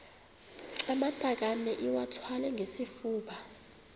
amatakane iwathwale ngesifuba